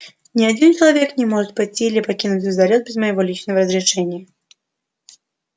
ни один человек не может пойти или покинуть звездолёт без моего личного разрешения